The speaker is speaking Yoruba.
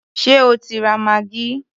Ṣé o ti ra maggi?